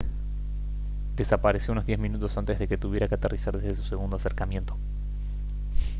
desapareció unos diez minutos antes de que tuviera que aterrizar desde su segundo acercamiento